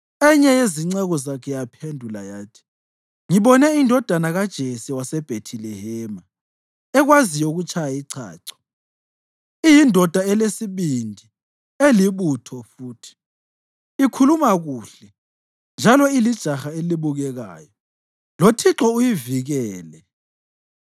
Enye yezinceku zakhe yaphendula yathi, “Ngibone indodana kaJese waseBhethilehema ekwaziyo ukutshaya ichacho. Iyindoda elesibindi elibutho futhi. Ikhuluma kuhle njalo ilijaha elibukekayo. LoThixo uyivikele.”